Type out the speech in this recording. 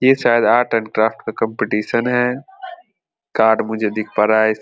ये शायद art and craft का कॉम्पिटिशन है कार्ड मुझे दिख पा रहा है --